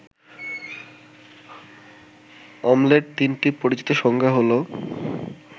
অম্লের ৩টি পরিচিত সংজ্ঞা হলো